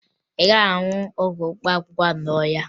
Ị gaghị ahụ ọgwụ mkpaakwụkwọ ahụ n'ahịa